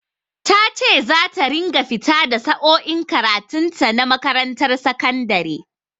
Ta ce za ta ringa fita da sa'o'in karatun ta na makarantar sakandare.